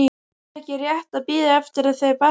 Er ekki rétt að bíða eftir að þau batni?